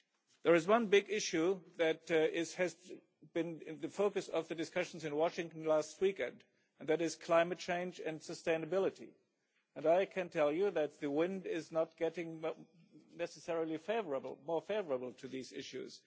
There is one big issue that has been the focus of the discussions in Washington last weekend, and that is climate change and sustainability, and I can tell you that the wind is not necessarily getting any more favourable to these issues.